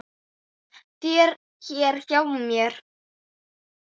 þér hér hjá mér